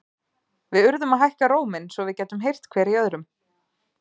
Við urðum að hækka róminn, svo við gætum heyrt hver í öðrum.